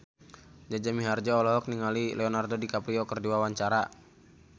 Jaja Mihardja olohok ningali Leonardo DiCaprio keur diwawancara